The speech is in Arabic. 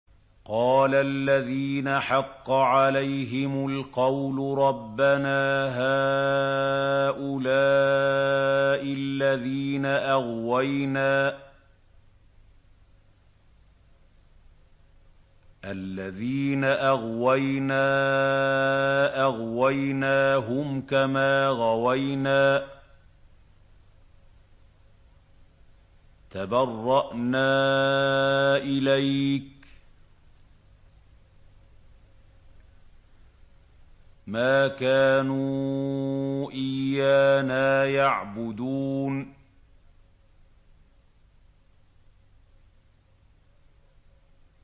قَالَ الَّذِينَ حَقَّ عَلَيْهِمُ الْقَوْلُ رَبَّنَا هَٰؤُلَاءِ الَّذِينَ أَغْوَيْنَا أَغْوَيْنَاهُمْ كَمَا غَوَيْنَا ۖ تَبَرَّأْنَا إِلَيْكَ ۖ مَا كَانُوا إِيَّانَا يَعْبُدُونَ